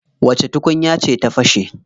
Wace tukunya ce ta fashe?